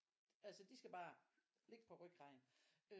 Altså de skal bare ligge på ryggraden øh